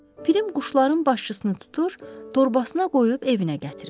Pirim quşların başçısını tutur, torbasına qoyub evinə gətirir.